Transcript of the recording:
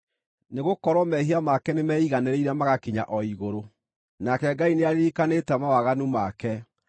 nĩgũkorwo mehia make nĩmeiganĩrĩire magakinya o igũrũ, nake Ngai nĩaririkanĩte mawaganu make.